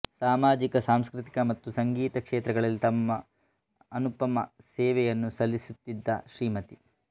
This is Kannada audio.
ಸಾಮಾಜಿಕ ಸಾಂಸ್ಕೃತಿಕ ಮತ್ತು ಸಂಗೀತ ಕ್ಷೇತ್ರಗಳಲ್ಲಿ ತಮ್ಮ ಅನುಪಮ ಸೇವೆಯನ್ನು ಸಲ್ಲಿಸುತ್ತಿದ್ದ ಶ್ರೀಮತಿ